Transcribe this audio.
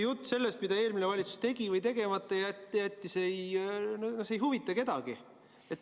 Jutt sellest, mida eelmine valitsus tegi või tegemata jättis, ei huvita kedagi.